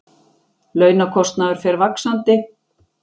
Launakostnaður fer vaxandi